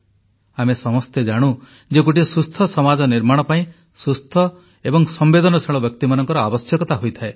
ଆମେ ସମସ୍ତେ ଜାଣୁ ଯେ ଗୋଟିଏ ସୁସ୍ଥ ସମାଜ ନିର୍ମାଣ ପାଇଁ ସୁସ୍ଥ ଏବଂ ସମ୍ବେଦନଶୀଳ ବ୍ୟକ୍ତିମାନଙ୍କର ଆବଶ୍ୟକତା ହୋଇଥାଏ